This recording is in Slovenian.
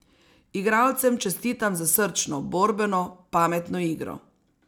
Igralcem čestitam za srčno, borbeno, pametno igro.